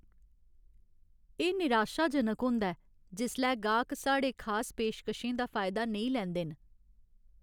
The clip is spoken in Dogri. एह् निराशाजनक होंदा ऐ जिसलै गाह्क साढ़े खास पेशकशें दा फायदा नेईं लैंदे न।